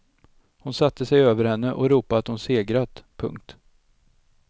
Hon satte sig över henne och ropade att hon segrat. punkt